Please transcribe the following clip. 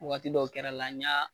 Waati dɔw kɛra la n y'a.